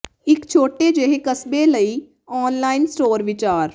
ਇਕ ਛੋਟੇ ਜਿਹੇ ਕਸਬੇ ਦੇ ਲਈ ਆਨਲਾਈਨ ਸਟੋਰ ਵਿਚਾਰ